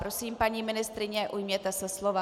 Prosím, paní ministryně, ujměte se slova.